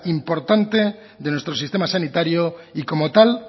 importante de nuestro sistema sanitario y como tal